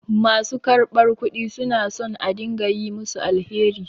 Ma su karɓar kudi su na son a dinga yi musu alheri.